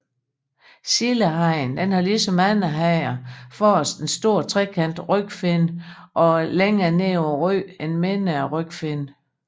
Sildehajen har ligesom andre hajer forrest en stor trekantet rygfinne og længere nede på ryggen en mindre rygfinne